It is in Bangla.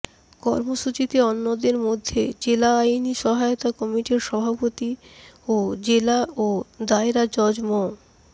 কর্মসূচিতে অন্যদের মধ্যে জেলা আইনি সহায়তা কমিটির সভাপতি ও জেলা ও দায়রা জজ মো